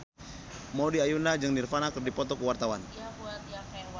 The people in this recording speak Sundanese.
Maudy Ayunda jeung Nirvana keur dipoto ku wartawan